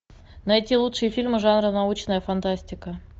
найти лучшие фильмы жанра научная фантастика